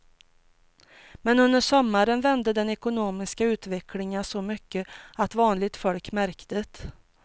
Men under sommaren vände den ekonomiska utvecklingen så mycket att vanligt folk märkte det.